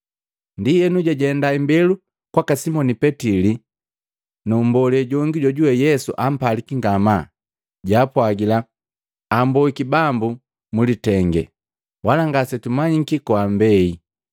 Ndienu jajenda imbelu kwaka Simoni Petili na mmbole jongi jojuwe Yesu ampaliki ngamaa, jaapwagila, “Amboiki Bambu mu litenge, wala ngasetumanyiki koambeile.”